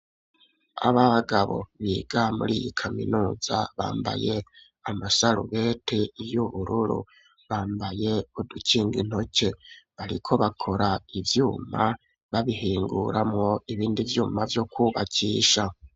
Ababagabo biga muri iyi kaminuza bambaye amasaruwete y'ubururu, bambaye udukinga intoke bariko bakora ivyuma babihinguramo ibindi vyuma vyo kwubakisha.